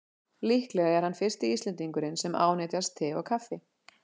Líklega er hann fyrsti Íslendingurinn sem ánetjast te og kaffi.